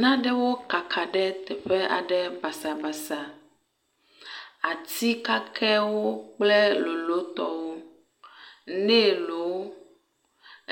Nanewo kaka ɖe teƒe aɖe basabasa. Ati kakewo kple lolotɔwo, nelwo,